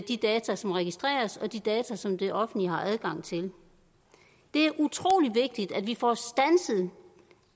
de data som registreres og de data som det offentlige har adgang til det er utrolig vigtigt at vi får standset